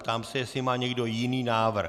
Ptám se, jestli má někdo jiný návrh.